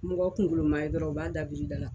Mɔgɔ kunkolo maa ye dɔrɔn u b'a dabirida la.